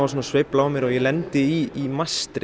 sveifla á mig og ég lendi í mastri